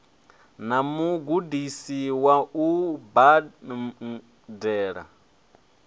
na mugudisi wa u bambela